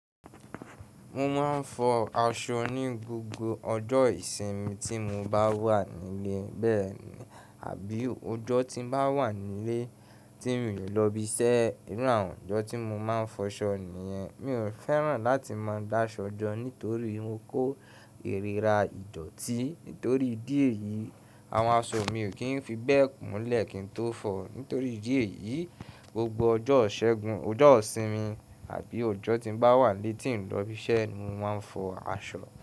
Mo máa ń fọ aṣọ ní gbogbo ọjọ́ ìsinmi tí mo bá wà n'ílé, bẹ́ẹ̀ni, àbí ọjọ́ tí n bá wà n'ílé tí mi ò lọ ib'iṣẹ́. Irú àwọn ọjọ́ tí mo máa ń fọṣọ nìyẹn, mi ò fẹ́ràn láti máa d'áṣọ jọ nítorí mo kó ìrira ìdọ̀tí. Nítorí ìdí èyí, àwọn aṣọ mi ò kí ń fi bẹ́ẹ̀ kún lẹ̀ kí n tó fọ̀ọ́. Nítorí ìdí èyí, gbogbo ọjọ́ ìṣẹ́gun, ọjọ́ ìsinmi, àbí ọjọ́ tí n bá wà nílé tí n ǹlọ ibiṣẹ́ ni mo máa ń fọ aṣọ.